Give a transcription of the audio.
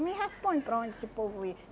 Me responde para onde esse povo ia.